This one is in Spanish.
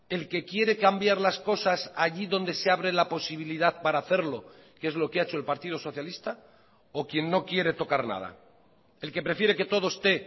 el que quiere cambiar las cosas allí donde se abre la posibilidad para hacerlo que es lo que ha hecho el partido socialista o quien no quiere tocar nada el que prefiere que todo esté